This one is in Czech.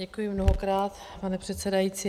Děkuji mnohokrát, pane předsedající.